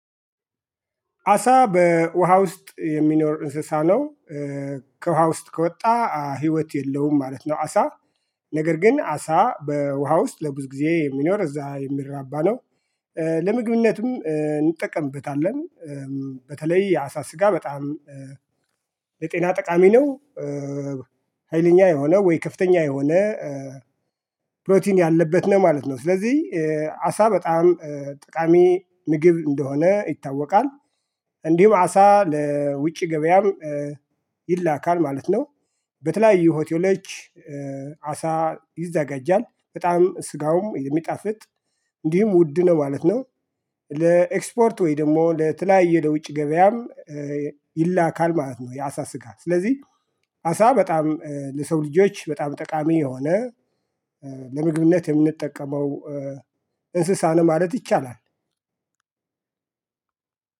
አሳ በውሃ ውስጥ የሚኖር እንስሳ ነው። ከውሃ ውስጥ ከወጣ ህይወት የለውም ማለት ነው። አሳ ነገር ግን አሳ በውሃ ውስጥ ለብዙ ጊዜ የሚኖር እዛ የሚራባ ነው። ለምግብነትም እንጠቀምበታለን። በተለይ አሳ ስጋ በጣም ለጤና ጠቃሚ ነው። ሀይለኛ የሆነ ወይ ከፍተኛ የሆነ ፕሮቲን ያለበት ነው ማለት ነው። ስለዚህ አሳ በጣም ጠቃሚ ምግብ እንደሆነ ይታወቃል። እንዲሁም አሳ ለውጭ ገበያም ይላካል ማለት ነው። በተለያዩ ሆቴሎች አሳ ይዘጋጃል በጣም ስጋውም የሚጣፍጥ እንዲሁም ውድ ነው ማለት ነው። ለኤክስፖርት ወይ ደግሞ ለተለያየ ለውጭ ገበያም ይላካል ማለት ነው። የአሳ ስጋ ስለዚህ አሳ በጣም ለሰው ልጆች በጣም ጠቃሚ የሆነ ለምግብነት የምንጠቀመው። እንስሳን ማለት ይቻላል።